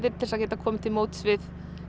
til að geta komið til móts við